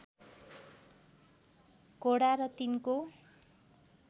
घोडा र तिनको